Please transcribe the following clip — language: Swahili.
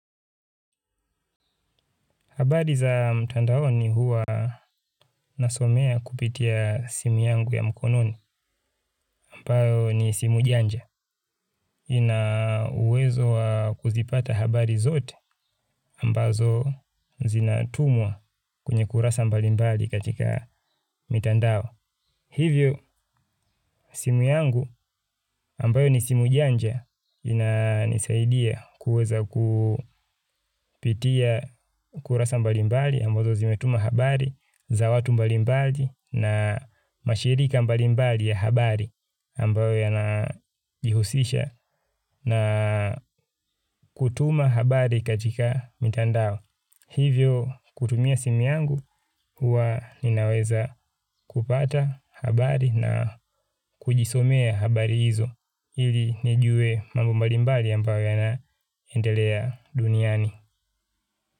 Habari za mtandaoni huwa nasomea kupitia simu yangu ya mkononi ambayo ni simu janja. Ina uwezo wa kuzipata habari zote ambazo zinatumwa kwenye kurasa mbalimbali katika mitandao. Hivyo, simu yangu ambayo ni simu janja inanisaidia kuweza kupitia kurasa mbalimbali ambazo zimetuma habari za watu mbalimbali na mashirika mbalimbali ya habari ambayo yanajihusisha na kutuma habari katika mitandao. Hivyo kutumia simu yangu huwa ninaweza kupata habari na kujisomea habari hizo ili nijue mambo mbalimbali ambayo yanaendelea duniani.